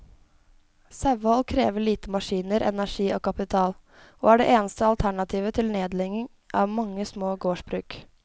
Sauehold krever lite maskiner, energi og kapital, og er det eneste alternativet til nedlegging av mange små gårdsbruk.